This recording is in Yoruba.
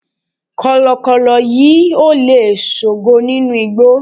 kọlọkọlọ yíò le sogo ninu igbó